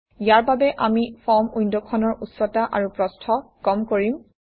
ইয়াৰ বাবে আমি ফৰ্ম উইণ্ডখনৰ উচ্চতা আৰু প্ৰস্থ কম কৰিম